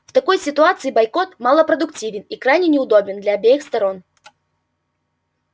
в такой ситуации бойкот малопродуктивен и крайне неудобен для обеих сторон